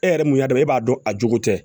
E yɛrɛ mun y'a dɔn e b'a dɔn a jogo tɛ